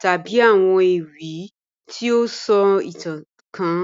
tabi awọn ewi ti o sọ itan kan